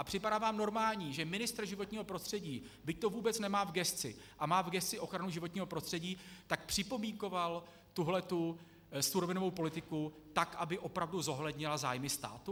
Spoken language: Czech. A připadá vám normální, že ministr životního prostředí, byť to vůbec nemá v gesci a má v gesci ochranu životního prostředí, tak připomínkoval tuhle surovinovou politiku tak, aby opravdu zohlednila zájmy státu?